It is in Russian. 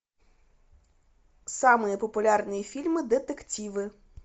самые популярные фильмы детективы